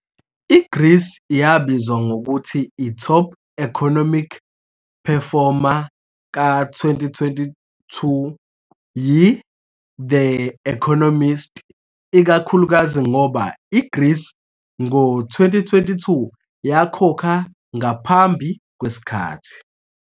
I-Greece yabizwa ngokuthi i-Top Economic Performer ka-2022 yi-The Economist, ikakhulukazi ngoba i-Greece ngo-2022 yakhokha ngaphambi kwesikhathi